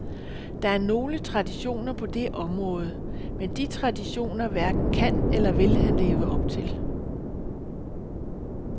Der er nogle traditioner på det område, men de traditioner hverken kan eller vil han leve op til.